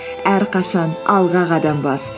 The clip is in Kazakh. әрқашан алға қадам бас